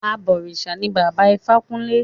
Àbọ̀rìṣà ní Bàbá Ifákúnlé.